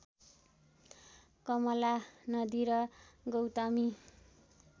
कमला नदी र गौतमी